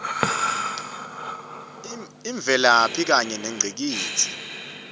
imvelaphi kanye nengcikitsi